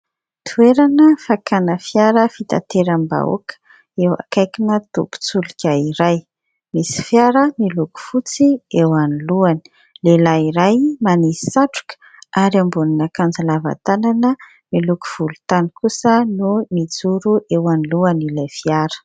Toerana fakàna fiara fitanteram-bahoaka, eo akaikina tobin-tsoloka iray. Misy fiara miloko fotsy eo anoloany. Lehilahy iray manisy satroka ary ambonin'akanjo lava tanana miloko volontany kosa no mijoro eo anoloan'ilay fiara.